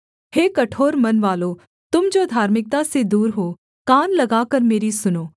हे कठोर मनवालों तुम जो धार्मिकता से दूर हो कान लगाकर मेरी सुनो